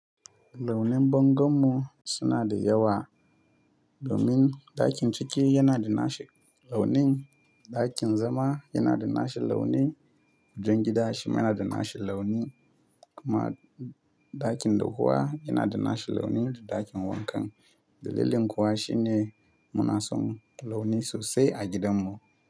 Launin bangon mu suna da yawa, domin ɗakin ciki yana da nashi launin, ɗakin zama yana da nashi launi, kujen gida shi mana da nashi launi kuma ɗakin doguwa yana da nashi launi da ɗakin wanka. Dalilin kuwa shine muna son launi sosai a gidan mu.